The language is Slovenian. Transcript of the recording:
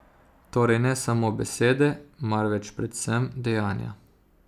Torej ne samo besede, marveč predvsem dejanja.